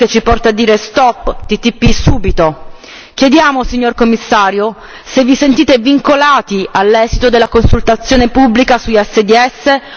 Chiediamo, signor Commissario, se vi sentite vincolati all'esito della consultazione pubblica sugli ISDS o se invece parliamo solo di una finta trasparenza.